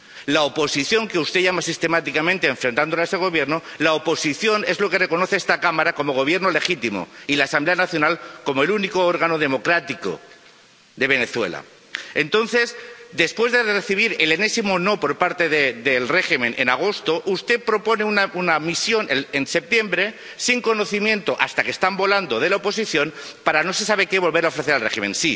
La oposición —como usted la llama sistemáticamente, enfrentándola a ese Gobierno— es la que esta Cámara reconoce como Gobierno legítimo, y la Asamblea Nacional como el único órgano democrático de Venezuela. Entonces, después de recibir el enésimo no por parte del régimen en agosto, usted propone una misión en septiembre —sin conocimiento, hasta que están volando, de la oposición— para no se sabe qué volver a ofrecer al régimen.